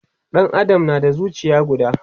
Ɗan Adam na da zucia guda